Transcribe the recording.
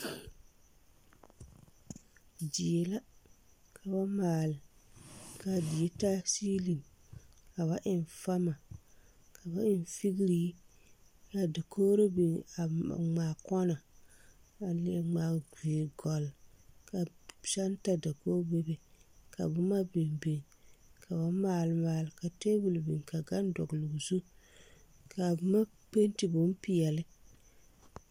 Die la ka ba maale kaa die taa seeliŋ ka ba eŋ fama ka ba eŋ figree kaa dokogro biŋ ngmaa kɔnɔ a leɛ ngmaa viirigɔlle ka senta dakoge bebe ka boma biŋ biŋ ka ba maale maale ka tabol biŋ ka gane dɔgloo zu kaa boma penti bonpeɛle.